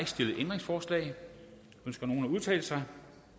stillede ændringsforslag ønsker nogen at udtale sig